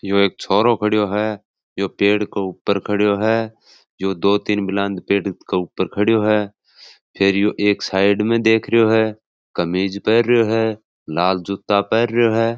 यो एक छोरो खड़ो है यो पेड़ के ऊपर खड़ो है जो दो तीन बुलंद पेड़ के ऊपर खड़ो है फिर एक साइड में देख रहो है कमीज पहन रियो है लाल जूता पहन रियो है।